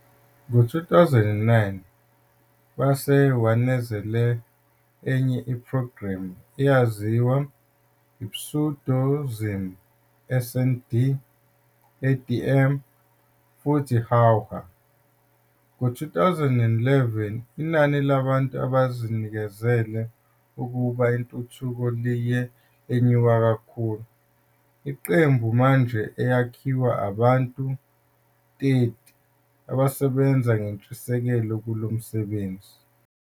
Ngo-2009, base wanezela eminye program, aziwa pseudonyms "Snd", "ADM" futhi "Huahua". Ngo-2011 inani labantu abazinikezele ukuba intuthuko liye lenyuka kakhulu, iqembu manje eyakhiwa abantu 30 abasebenza ngentshiseko kulo msebenzi.